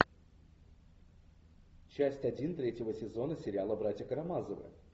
часть один третьего сезона сериала братья карамазовы